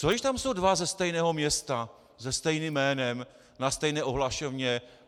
Co když tam jsou dva ze stejného města se stejným jménem na stejné ohlašovně?